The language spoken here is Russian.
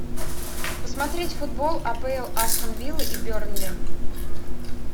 посмотреть футбол апл астон вилл и берни